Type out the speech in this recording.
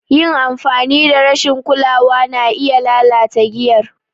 Yin amfani da rashin kulawa na iya lalata giyar.